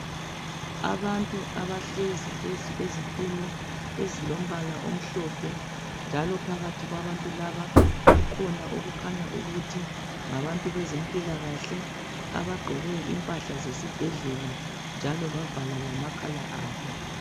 Abantu abahlezi phezu kwezitulo ezilombala njalo phakathi kwabantu laba kukhona okukhanya ukuthi ngabantu bezempilakahle abagqoke impahla zesibhedlela njalo bavala lamakhala abo.